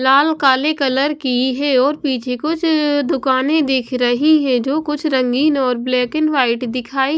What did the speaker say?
लाल काले कलर की है और पीछे कुछ दुकानें दिख रही है जो कुछ रंगीन और ब्लैक एंड वाइट दिखाई --